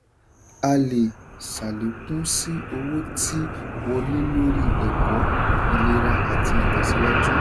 a lè ṣàlékún sí owó tí wọlé lóri ẹ̀kọ́ ìlera àti ìtẹ̀síwájú.